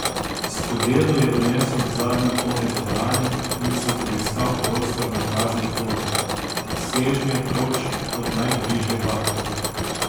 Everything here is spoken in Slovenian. Skodelo je odnesel v zadnji konec dvorane in si poiskal prostor na prazni klopi, sežnje proč od najbližje bakle.